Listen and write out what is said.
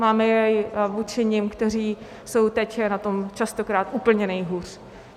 Máme jej vůči nim, kteří jsou teď na tom častokrát úplně nejhůř.